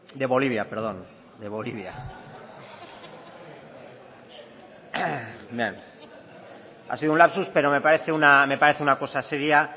ha sido un lapsus pero me parece una cosa seria